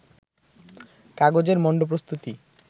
কাগজের মন্ড প্রস্তুতি